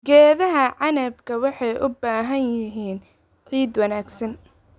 Geedaha canabka waxay u baahan yihiin ciid wanaagsan.